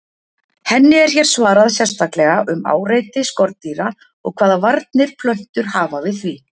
Henni er hér svarað sérstaklega um áreiti skordýra og hvaða varnir plöntur hafa við því.